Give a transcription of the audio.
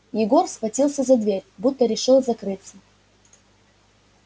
егор схватился за дверь будто решил закрыться